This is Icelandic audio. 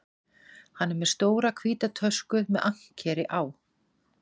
Hann er með stóra hvíta tösku með ankeri á.